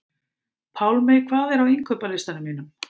Pálmey, hvað er á innkaupalistanum mínum?